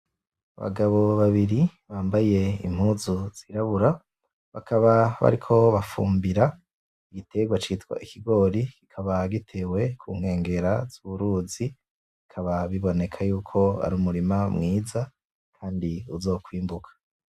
Abagabo babiri bambaye impuzu zirabura, bakaba bariko bafumbira igiterwa citwa ikigori, kikaba gitewe kunkengera z'uruzi bikaba biboneka yuko ari umurima mwiza kandi uzokwimburwa.